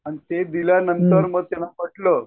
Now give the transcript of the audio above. आणि मग ते दिल्यांनतर त्यांना पटलं